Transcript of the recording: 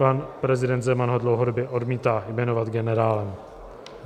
Pan prezident Zeman ho dlouhodobě odmítá jmenovat generálem.